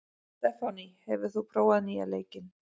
Stefánný, hefur þú prófað nýja leikinn?